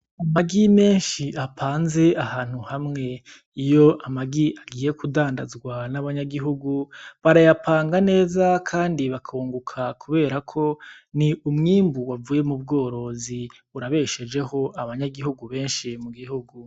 Amagi menshi apanze ahantu hamwe. Iyo amagi agiye kudandazwa nabanyagihugu, barayapanga neza kandi bakunguka kubera ko ni umwimbu wavuye mubworozi, urabeshejeho abanyagihugu benshi mugihugu.